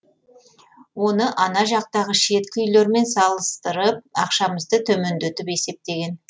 оны ана жақтағы шеткі үйлермен салыстырып ақшамызды төмендетіп есептеген